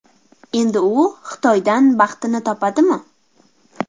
Endi u Xitoydan baxtini topadimi?